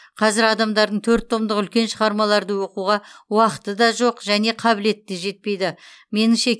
қазір адамдардың төрт томдық үлкен шығармаларды оқуға уақыты да жоқ және қабілеті де жетпейді меніңше